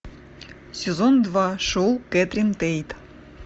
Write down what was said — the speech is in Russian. сезон два шоу кэтрин тейт